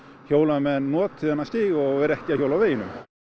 hjólamenn noti þennan stíg og séu ekki að hjóla á veginum